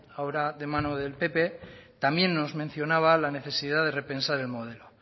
ahora de la mano del pp también nos mencionaba la necesidad de repensar en el modelo